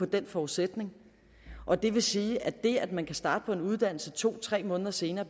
den forudsætning og det vil sige at det at man kan starte på en uddannelse to tre måneder senere